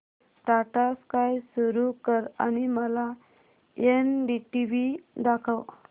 Tata Sky सुरू कर आणि मला एनडीटीव्ही दाखव